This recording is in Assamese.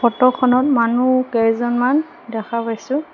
ফটোখনত মানুহ কেইজনমান দেখা পাইছোঁ।